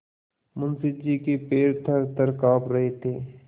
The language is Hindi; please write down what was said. मुंशी जी के पैर थरथर कॉँप रहे थे